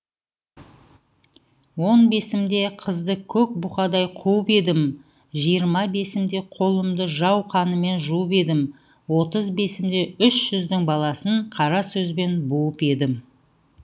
он бесімде қызды көк бұқадай қуып едім жиырма бесімде қолымды жау қанымен жуып едім отыз бесімде үш жүздің баласын қара сөзбен буып едім